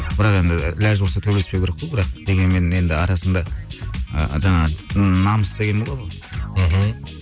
бірақ енді лажы болса төбелеспеу керек қой бірақ дегенмен енді арасында ы жаңағы намыс деген болады ғой мхм